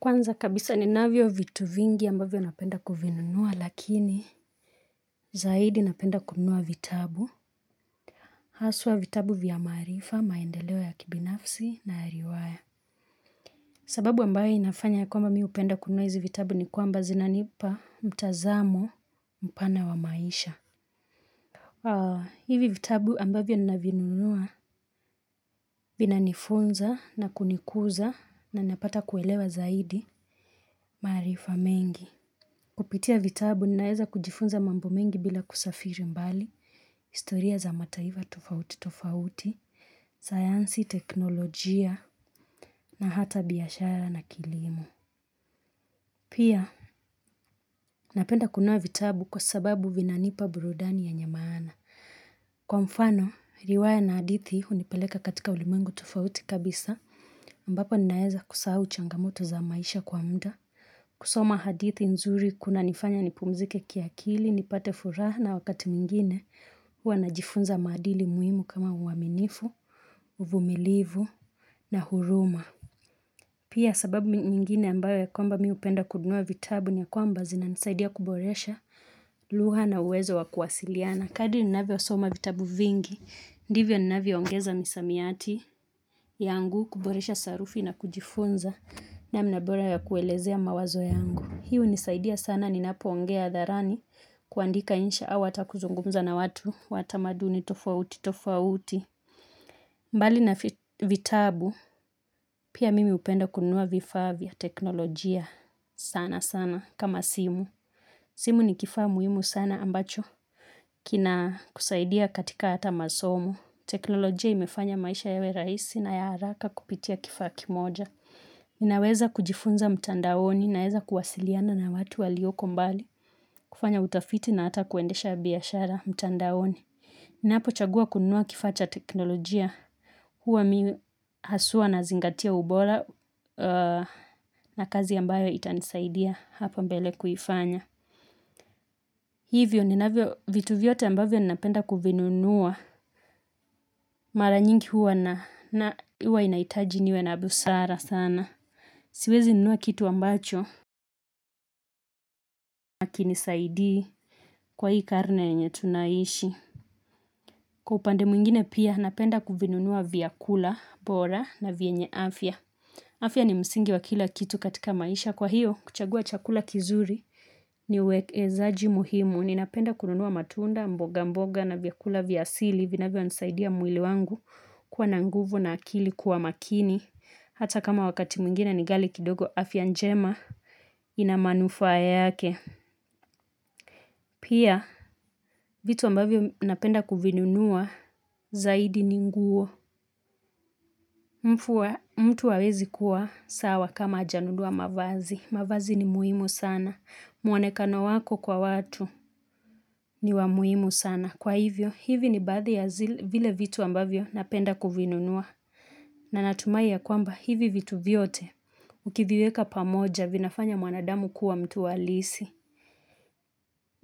Kwanza kabisa ninavyo vitu vingi ambavyo napenda kuvinunua lakini zaidi napenda kunua vitabu. Haswa vitabu vya maarifa, maendeleo ya kibinafsi na ya riwaya. Sababu ambaye inafanya kwamba mimi hupenda kununua hizi vitabu ni kwamba zinanipa mtazamo mpana wa maisha. Hivi vitabu ambavyo ninavinunua vina nifunza na kunikuza na napata kuelewa zaidi maraifa mengi. Kupitia vitabu, ninaeza kujifunza mambo mengi bila kusafiri mbali, historia za mataifa tufauti tufauti, sayansi, teknolojia, na hata biashara na kilimo. Pia, napenda kununua vitabu kwa sababu vinanipa burudani yenye maaana. Kwa mfano, riwaya na hadithi unipeleka katika ulimengu tufauti kabisa, mbapo ninaeza kusahau changamoto za maisha kwa muda. Kusoma hadithi nzuri kuna nifanya nipumzike kiakili, nipate furaha na wakati nyingine huwa najifunza madili muhimu kama uaminifu, uvumilivu na huruma. Pia sababu mingine ambayo ya kwamba mimi hupenda kununua vitabu ni kwamba zina nisaidia kuboresha lugha na uwezo wa kuwasiliana. Kadi ninafyo soma vitabu vingi, ndivyo ninafyo ongeza misamiati yangu, kuboresha sarufi na kujifunza na namna bora ya kuelezea mawazo yangu. Hii hunisaidia sana, ninapoongea hadharani kuandika insha au hata kuzungumza na watu, wata tamaduni tofauti tofauti. Mbali na vitabu, pia mimi upenda kununua vifaa vya teknolojia sana sana kama simu. Simu ni kifaa muhimu sana ambacho kina kusaidia katika hata masomo. Teknolojia imefanya maisha yawe raisi na ya haraka kupitia kifaa kimoja. Ninaweza kujifunza mtandaoni naeza kuwasiliana na watu walioko mbali kufanya utafiti na ata kuendesha biashara mtandaoni Ninapo chagua kunua kifaa cha teknolojia Huwa mimi haswa nazingatia ubora na kazi ambayo itanisaidia hapa mbele kuyifanya Hivyo ninavyo vitu vyote ambavyo ninapenda kuvinunua Mara nyingi huwa inaitaji niwe na busara sana Siwezi nunua kitu ambacho, hakinisaidii kwa hii karne yenye tunaishi. Kwa upande mwingine pia, napenda kuvinunua vyakula, bora na vyenye afya. Afya ni msingi wa kila kitu katika maisha. Kwa hiyo, kuchagua chakula kizuri ni uwekezaji muhimu. Ninapenda kununua matunda, mboga mboga na vyakula vya asili. Vinavyo nisaidia mwili wangu kuwa na nguvu na akili kuwa makini. Hata kama wakati mwingine ni ghali kidogo afya njema. Ina manufaa yake, pia vitu ambavyo napenda kuvinunua zaidi ni nguo mtu hawezi kuwa sawa kama hajanunua mavazi, mavazi ni muhimu sana muonekano wako kwa watu ni wa muhimu sana, kwa hivyo hivi ni baadhi ya vile vitu ambavyo napenda kuvinunua na natumai ya kwamba hivi vitu vyote ukiviweka pamoja vinafanya mwanadamu kuwa mtu wa halisi